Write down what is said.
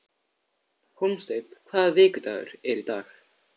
Hólmsteinn, hvaða vikudagur er í dag?